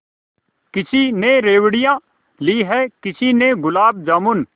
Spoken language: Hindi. किसी ने रेवड़ियाँ ली हैं किसी ने गुलाब जामुन